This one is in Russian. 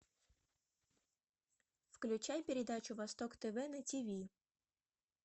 включай передачу восток тв на тв